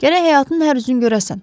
Gərək həyatın hər üzünü görəsən.